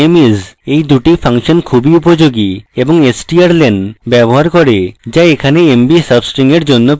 এই দুটি ফাংশন খুবই উপযোগী এবং strlen ব্যবহার করে so এখানে mb substring এর জন্য প্রযোজ্য